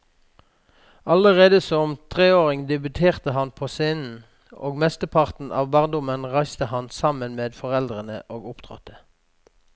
Allerede som treåring debuterte han på scenen, og mesteparten av barndommen reiste han sammen med foreldrene og opptrådte.